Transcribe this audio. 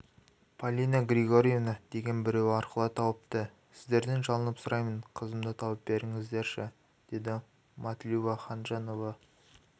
полина григорьевна деген біреу арқылы тауыпты сіздерден жалынып сұраймын қызымды тауып беріңіздерші деді матлюба ханжанова